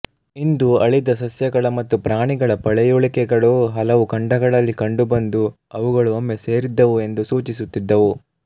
ಇಂದು ಅಳಿದ ಸಸ್ಯಗಳ ಮತ್ತು ಪ್ರಾಣಿಗಳ ಪಳಿಯುಳಿಕೆಗಳೂ ಹಲವು ಖಂಡಗಳಲ್ಲಿ ಕಂಡುಬಂದು ಅವುಗಳು ಒಮ್ಮೆ ಸೇರಿದ್ದವು ಎಂದು ಸೂಚಿಸುತ್ತಿದ್ದವು